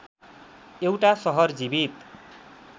एउटा सहर जीवित